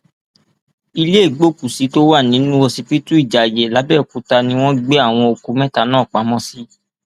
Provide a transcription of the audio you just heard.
ilé ìgbókùúsí tó wà nínú ọsibítù ìjayé làbẹọkúta ni wọn gbé àwọn òkú mẹta náà pamọ sí